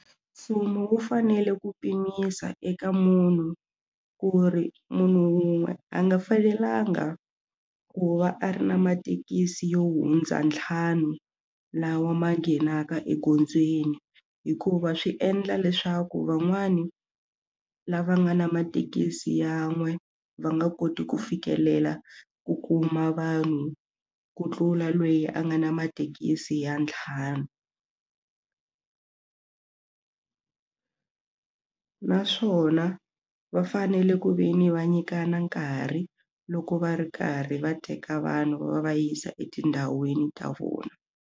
Mfumo wu fanele ku pimisa eka munhu ku ri munhu wun'we a nga fanelanga ku va a ri na mathekisi yo hundza ntlhanu lawa ma nghenaka egondzweni hikuva swi endla leswaku van'wani lava nga na mathekisi yan'we va nga koti ku fikelela ku kuma vanhu ku tlula loyi a nga na mathekisi ya ntlhanu naswona va fanele ku ve ni va nyikana nkarhi loko va ri karhi va teka vanhu va va yisa etindhawini ta vona.